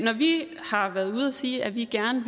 vi har været ude at sige at vi gerne